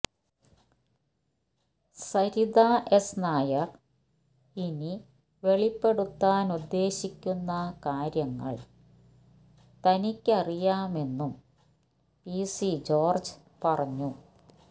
Saritha S Nair ഇനി വെളിപ്പെടുത്താൻ ഉദ്ദേശിക്കുന്ന കാര്യങ്ങൾ തനിക്കറിയാമെന്നും പി സി ജോർജ് പറഞ്ഞു